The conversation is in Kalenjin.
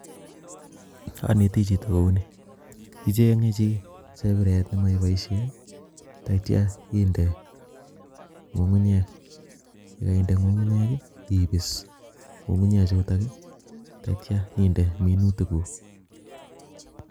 Aneti choto kou ni icheng'e chi chepiret nemeiboishe tatyo inde ng'ung'unyek eng yekaende ng'ung'unyek ipis ng'ung'unyek chutok tatyo inde minutik kuk